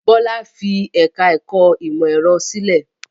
Bọ́lá fi ẹ̀ka-ẹ̀kọ́ ìmọ̀-ẹ̀rọ sílẹ̀?